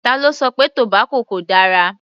Ta ló sọ pé tobacco kò dára?